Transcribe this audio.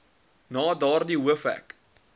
na daardie hoofhek